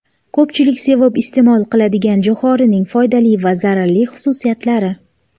Ko‘pchilik sevib iste’mol qiladigan jo‘xorining foydali va zararli xususiyatlari.